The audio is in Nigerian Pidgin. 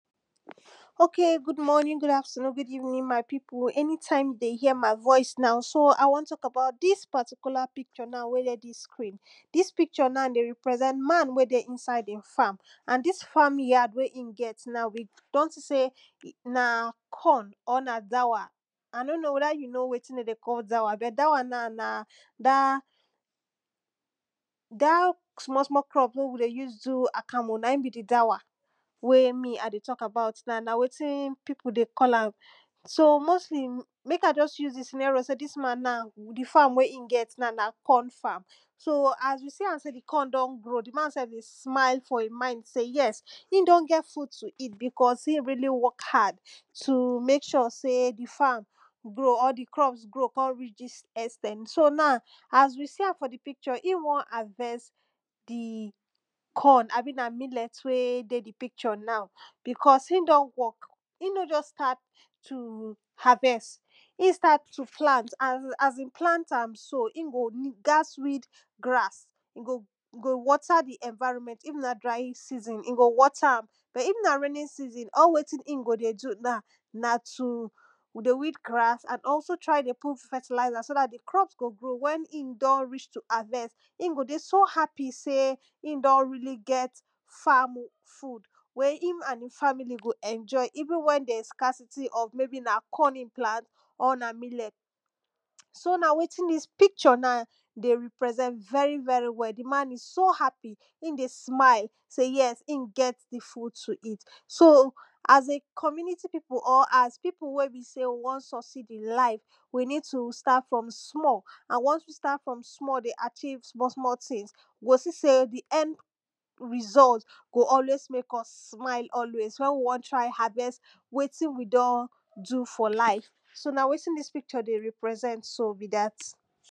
ok good morning, good afternoon, good evening my pipu anytime de hear my voice now, so i won talk about dis particular picture now wey dey dis screen. dis picture now dey represent man wey dey inside hin farm. and dis farm yard wey e get now we kon see sey na corn or na dawa, i no know weda you kow wetin dey dey cal dawa but dawa na da da small small cup wey we dey us do akamu na in be dawa wy me i dey talk about now and na wetin pipu dey call am. so mostly mek i just uuse di senero sey dis man na di farm wey e get naw n na corn farm, so as we see am sey di corn don grow, di man self go smile for in mind say yes him don get food to eat because e don work realy hard to mek sure sey di farm grow or di crop grow kon reach dis ex ten t. so now as we see am fr di picture e won harvest di corn abi na millet wey dey di picture now. because e don work, e no just start to harvest, e start to plant and asin plant ans sow e go gats weed grass, in go dey so happy sey e don really get farm food wey him and hin family go enjoyeven wen there is scarsity even wen na corn e plant or millet. so na wetin dis picture na dey represent very very well. di man is so happy e dey smile sey yes hin get di food to eat.so as a community pipu or as pipu wey be sey won succeed in life, we need to start from small ans wons we start from small dey chieve small small tins, you go see sey di end result wen we won try harvest wetin we don do for life. so na wetin dis pictur dey represet so be dat